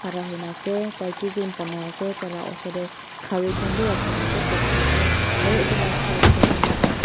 khara huina ase tai kiki banai ase tai la osor tae khari khan bi rakhina ase backside tae aru edu la side tae ekta mota.